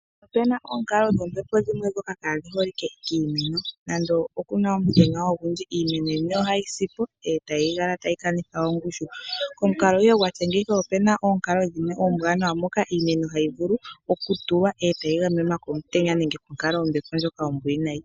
Opuna oonkalo dhombepo ndhoka kaadhi holike kiimeno nonando puna omutenya ogundji, iimeno yimwe ohayi sipo etayi kala tayi kanitha ongushu. Komukalo ihe gwatya ngeyika , okuna oonkalo dhimwe oombwanawa moka iimeno hayi vulu okutulwa etayi gamenwa komutenya nokonkalo yombepo ndjoka ombwiinayi.